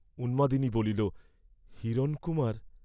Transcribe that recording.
উন্মাদিনী বলিল, হিরণকুমার!